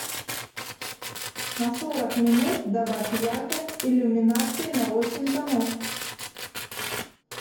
на сорок минут добавь яркость иллюминации на восемь тонов